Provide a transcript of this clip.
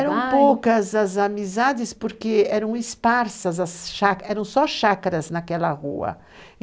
Eram poucas as amizades porque eram esparsas as chácaras, eram só chácaras naquela rua.